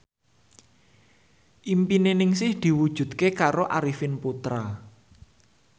impine Ningsih diwujudke karo Arifin Putra